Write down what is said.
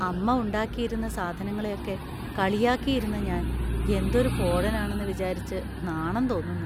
അമ്മ ഉണ്ടാക്കിയിരുന്ന സാധനങ്ങളെയൊക്കെ കളിയാക്കിയിരുന്ന ഞാന്‍ എന്തൊരു പോഴനാണെന്ന് വിചാരിച്ചു നാണം തോന്നുന്നു.